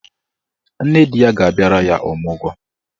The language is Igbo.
Nne di ya ga-abịara ya ọmụgwọ.